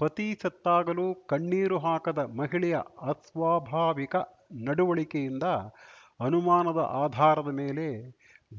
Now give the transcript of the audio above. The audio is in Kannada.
ಪತಿ ಸತ್ತಾಗಲೂ ಕಣ್ಣೀರು ಹಾಕದ ಮಹಿಳೆಯ ಅಸ್ವಾಭಾವಿಕ ನಡುವಳಿಕೆಯಿಂದ ಅನುಮಾನದ ಆಧಾರದ ಮೇಲೆ